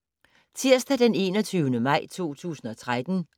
Tirsdag d. 21. maj 2013